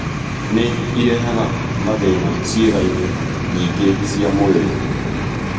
Nĩ ĩrehaga mathĩĩna ciĩga-inĩ nyingĩ cia mwĩrĩ.